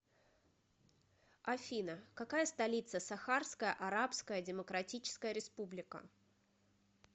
афина какая столица сахарская арабская демократическая республика